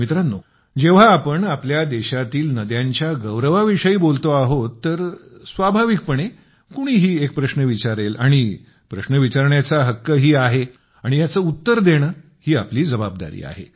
मित्रांनो जेव्हा आपण आपल्या देशातील नद्यांच्या गौरवाविषयी बोलतो आहोत तर स्वाभाविकपणे कोणीही एक प्रश्न विचारेल आणि प्रश्न विचारण्याचा हक्कही आहे आणि याचे उत्तर देणे ही आपली जबाबदारी आहे